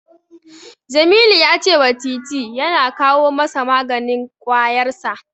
Jamilu ya cewa Titi ya kawo masa maganin ƙwayarsa.